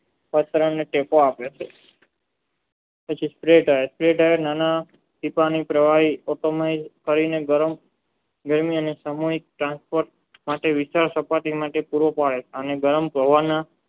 ગરમ મેળવી અને સમય tranceport = માટે વિચાર કરતા તે માટે પૂરો પડે છે અને ગરમ પ્રવાહના